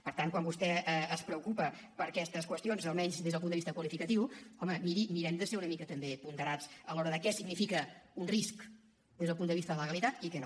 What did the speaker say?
per tant quan vostè es preocupa per aquestes qüestions almenys des del punt de vista qualificatiu home mirem de ser una mica també ponderats a l’hora de què significa un risc des del punt de vista de la legalitat i què no